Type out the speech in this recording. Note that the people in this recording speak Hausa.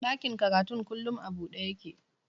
Ɗakin karatun kullum a buɗe yake